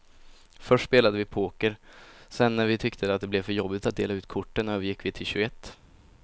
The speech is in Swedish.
Först spelade vi poker, sedan när vi tyckte att det blev för jobbigt att dela ut korten övergick vi till tjugoett.